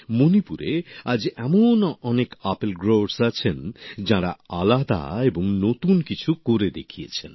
মণিপুরে আজ এমন অনেক আপেল উৎপাদক আছেন যাঁরা আলাদা এবং নতুন কিছু করে দেখিয়েছেন